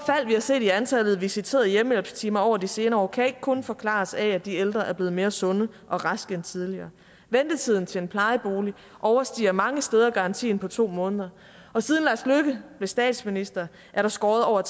har set i antallet af visiterede hjemmehjælpstimer over de senere år kan ikke kun forklares ved at de ældre er blevet mere sunde og raske end tidligere ventetiden til en plejebolig overstiger mange steder garantien på to måneder og siden lars løkke blev statsminister er der skåret over